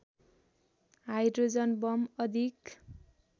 hydrogen bomb अधिक